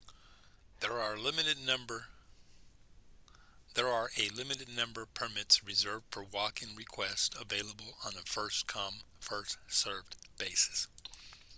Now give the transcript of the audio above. there are a limited number permits reserved for walk-in requests available on a first come first served basis